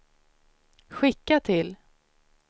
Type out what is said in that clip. skicka till